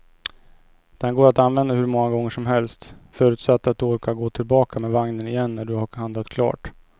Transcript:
Den går att använda hur många gånger som helst, förutsatt att du orkar gå tillbaka med vagnen igen när du har handlat klart.